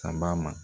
Kaba ma